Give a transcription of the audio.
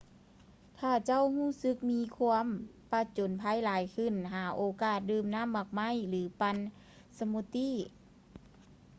ຖ້າເຈົ້າຮູ້ສຶກມີຄວາມປະຈົນໄພຫລາຍຂຶ້ນ ຫາໂອກາດດື່ມນໍ້າໝາກໄມ້ ຫຼື ປັ່ນສະມູດຕີ້